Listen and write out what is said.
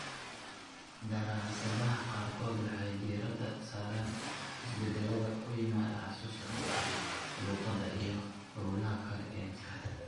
Daraasadaha qaarkood waxay diiradda saaraan isbeddellada ku yimaada xusuusta qofka, luqadda, iyo hawlaha kale ee maskaxda.